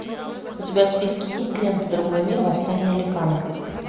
у тебя в списке есть лента другой мир восстание ликанов